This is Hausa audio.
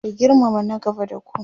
ku girmama na gaba da ku!